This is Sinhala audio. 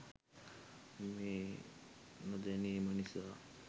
මේ නොදැනීම නිසා